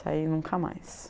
Saí nunca mais.